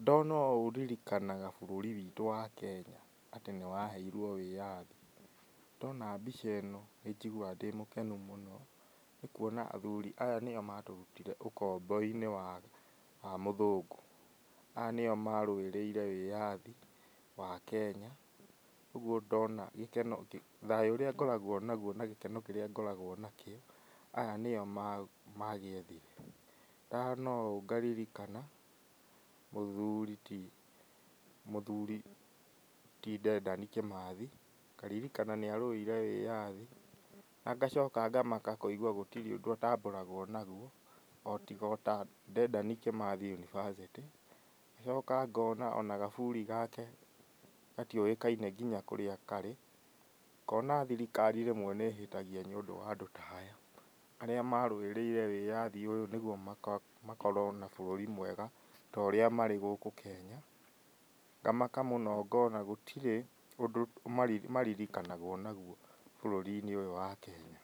Ndona ũũ ndirikanaga bũrũri witũ wa Kenya, atĩ nĩ waheirwo wĩyathi, ndona mbica ĩno nĩ njiguaga ndĩmũkenu mũno, nĩ kuona athuri aya nĩo matũrutire ũkombo-inĩ wa wa mũthũngũ, aya nĩo marũĩrĩire wiyathi wa Kenya, ũguo ndona gĩkeno thayũ ũrĩa ngoragwo naguo, na gĩkeno kĩrĩa ngoragwo nakĩo aya nĩ nĩyo ma magĩethire, ndona ũũ ngaririkana mũthuri ti mũthuri ti Dedan Kimath, i ngaririkana nĩ arũĩre wĩyathi, na ngacoka ngamaka kwĩgwa gũtirĩ ũndũ atambũragwo naguo, o tiga ota Dedan Kimathi University, ngacoka ngona ona gaburi gake gatiũyĩkaine nginya kũrĩa karĩ, ngona thirikari rĩmwe nĩ ĩhĩtagia nĩ ũndũ wandũ taya, arĩa marũĩrĩire wĩyathi ũyũ nĩguo maka makorwo na bũrũri mwega, torĩa marĩ gũkũ Kenya, ngamaka mũno ngona gũtirĩ ũndũ mari maririkanagwo naguo bũrũri-inĩ ũyũ wa Kenya,